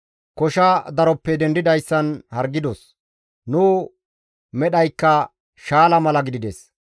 Kosha daroppe dendidayssan hargidos; nu medhaykka shaala mala gidides.